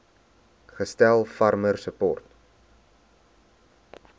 gestel farmer support